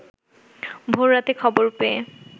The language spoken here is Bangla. ভোর রাতে খবর পেয়ে